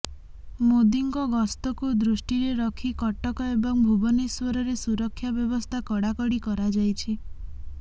ମୋଦିଙ୍କ ଗସ୍ତକୁ ଦୃଷ୍ଟିରେ ରଖି କଟକ ଏବଂ ଭୁବନେଶ୍ୱରରେ ସୁରକ୍ଷା ବ୍ୟବସ୍ଥା କଡ଼ାକଡ଼ି କରାଯାଇଛି